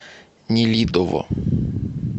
нелидово